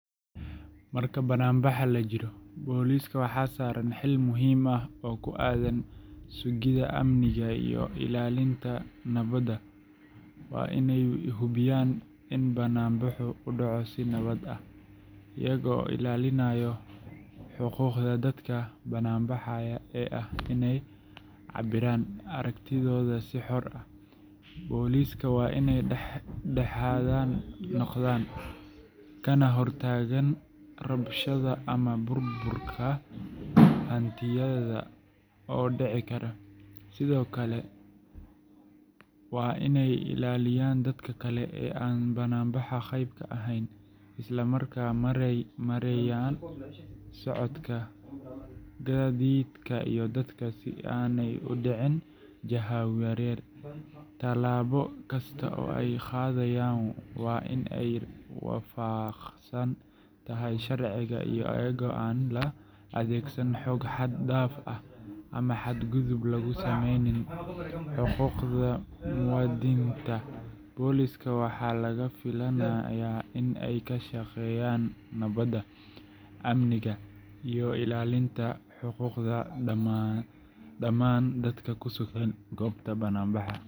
Marka bannaanbax la jiro, booliska waxaa saaran xil muhiim ah oo ku aaddan sugidda amniga iyo ilaalinta nabadda. Waa inay hubiyaan in bannaanbaxu u dhaco si nabad ah, iyaga oo ilaalinaya xuquuqda dadka bannaanbaxaya ee ah inay cabbiraan aragtidooda si xor ah. Boolisku waa inay dhex-dhexaad noqdaan, kana hortagaan rabshado ama burbur hantiyeed oo dhici kara. Sidoo kale, waa inay ilaaliyaan dadka kale ee aan bannaanbaxa qayb ka ahayn, isla markaana maareeyaan socodka gaadiidka iyo dadka si aanay u dhicin jahawareer. Tallaabo kasta oo ay qaadayaan waa in ay waafaqsan tahay sharciga, iyadoo aan la adeegsan xoog xad-dhaaf ah ama xadgudub lagu sameynin xuquuqda muwaadiniinta. Booliska waxaa laga filayaa in ay ka shaqeeyaan nabadda, amniga, iyo ilaalinta xuquuqda dhammaan dadka ku sugan goobta bannaanbaxa.